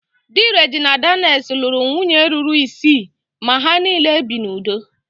Dị Regina Daniel's lụrụ nwunye ruru isii ma ha niile bi n'udo